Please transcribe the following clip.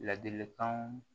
Ladilikanw